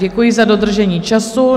Děkuji za dodržení času.